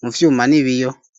mu vyuma n'ibiyo.